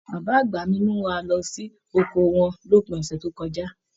Bàbá àgbà mí mú wá lọ sí oko wọn l'opin ọsẹ tó kọjá.